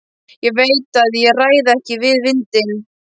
Ég veit að ég ræð ekki við vindinn.